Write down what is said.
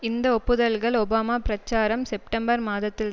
இந்த ஒப்புதல்கள் ஒபாமா பிரச்சாரம் செப்டம்பர் மாதத்தில்